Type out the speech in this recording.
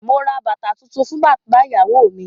Mo ra bàtà tuntun fún bàbá ìyàwó mi.